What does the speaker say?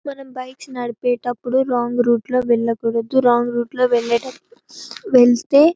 మనం బైక్స్ నడిపే అప్పుడు రాంగ్ రూట్ లో వెళ్ళకూడదు వెళ్తే--.